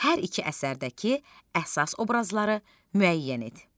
Hər iki əsərdəki əsas obrazları müəyyən et.